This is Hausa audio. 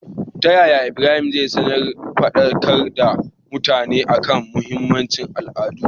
taya ibrahim zai sanar fadakar da mutane akan mahinmancin al'ada?